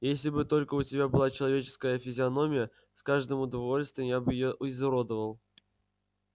если бы только у тебя была человеческая физиономия с каждым удовольствием я бы её изуродовал